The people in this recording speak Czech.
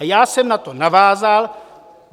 A já jsem na to navázal.